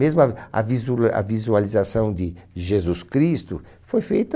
Mesmo a a visula a visualização de de Jesus Cristo foi feita...